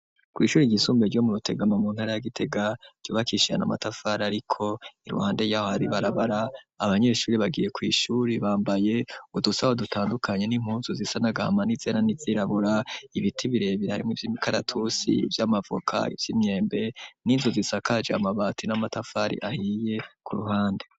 kw'ishure ry'isumbuye ryo mu rutegama mu ntara ya gitega ryubakishijwe amatafari ariko iruhande yaho hari ibarabara abanyeshure bagiye kw'ishure bambaye udusaho dutandukanye n'impunzu zisa nagahama nizera n'izirabura ibiti birebe birimwo ivy'imikaratusi ivy'amavuko ivy'imyembe n'inzu zisakaje amabati n'amatafari ahiye ku ruhande.